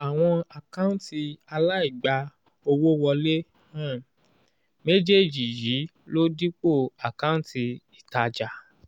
àwọn àkántì alaigba owó wọle um méjèèjì yii ló dipo àkántì ìtajà